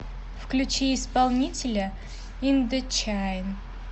включи исполнителя индочайн